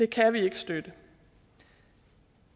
kan vi ikke støtte